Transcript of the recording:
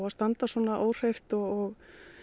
standa svona óhreyft og